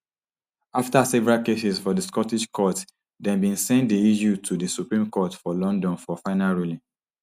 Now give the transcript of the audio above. afta several cases for di scottish courts dem bin send di issue to di supreme court for london for final ruling